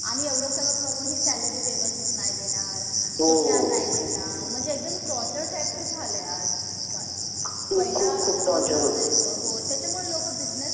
आणि एवढं सगळं करूनही सॅलरी व्यवस्थित नाही देणार. सुट्ट्या नाही देणार. म्हणजे एकदम टॉर्चर टाईपचं झालंय आजकाल. पहिलं असं नसायचं. त्याच्यामुळं खूप सारे लोकं बिजनेस